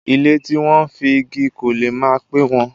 Ilé tí wọ́n fi igi kọ́ lè má pẹ́ wó.